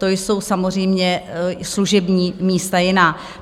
To jsou samozřejmě služební místa jiná.